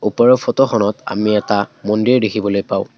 ওপৰৰ ফটোখনত আমি এটা মন্দিৰ দেখিবলৈ পাওঁ।